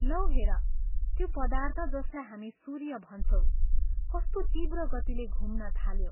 लौ हेर, त्यो पदार्थ जसलाई हामी सूर्य भन्छौं कस्तो तीव्र गतिले घुम्न थाल्यो।